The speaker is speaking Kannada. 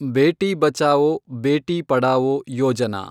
ಬೇಟಿ ಬಚಾವೊ, ಬೇಟಿ ಪಢಾವೋ ಯೋಜನಾ